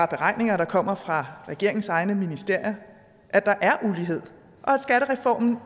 beregninger der kommer fra regeringens egne ministerier at der er ulighed og at skattereformen